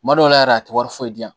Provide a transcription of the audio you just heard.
Kuma dɔw la yɛrɛ a tɛ wari foyi di yan